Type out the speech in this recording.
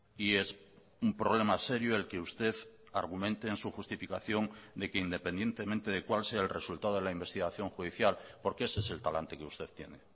y es un problema serio el que usted argumente en su justificación de que independientemente de cuál sea el resultado de la investigación judicial porque ese es el talante que usted tiene